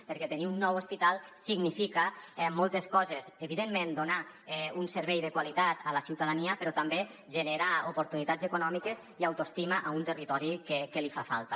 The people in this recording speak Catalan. perquè tenir un nou hospital significa moltes coses evidentment donar un servei de qualitat a la ciutadania però també genera oportunitats econòmiques i autoestima a un territori que li fa falta